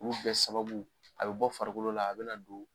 Olu bɛɛ sababu a bɛ bɔ farikolo la a bɛ na don